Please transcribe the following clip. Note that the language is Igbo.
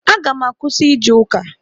Aga m akwụsị ije ụka.